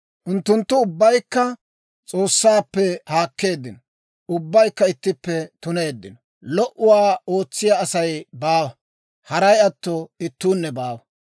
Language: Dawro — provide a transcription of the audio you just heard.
Unttunttu ubbaykka S'oossaappe haakkeeddino; ubbaykka ittippe tuneeddino. Lo"uwaa ootsiyaa Asay baawa; haray atto ittuunne baawa.